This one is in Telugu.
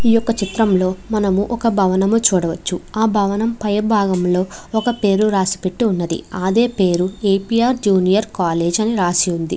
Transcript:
ఈ యొక్క చిత్రంలో మనము ఒక భవనము చూడవచ్చు. ఆ భవనం పై భాగంలో ఒక పేరు రాసిపెట్టి ఉన్నది. అదే పేరు A. P. R junior college అని రాసి ఉంది.